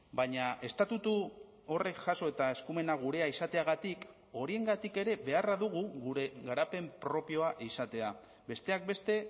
baina estatutu horrek jaso eta eskumena gurea izateagatik horiengatik ere beharra dugu gure garapen propioa izatea besteak beste